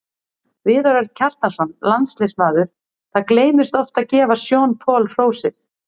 Viðar Örn Kjartansson, landsliðsmaður Það gleymist oft að gefa Sean Paul hrósið.